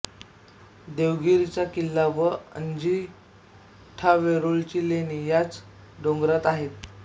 देवगिरीचा किल्ला व अजिंठावेरूळची लेणी याच डोंगरात आहेत